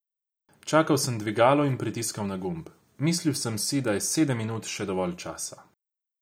Čakal sem dvigalo in pritiskal na gumb, mislil sem si, da je sedem minut še dovolj časa.